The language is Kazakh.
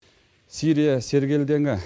сирия сергелдеңі